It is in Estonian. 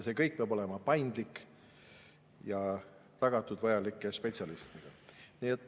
See kõik peab olema paindlik ja spetsialistide olemasolu tagatud.